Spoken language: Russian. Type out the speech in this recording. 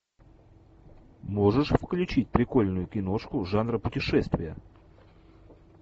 можешь включить прикольную киношку жанра путешествия